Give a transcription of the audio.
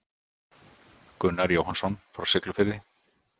Gunnar Jóhannsson frá Siglufirði.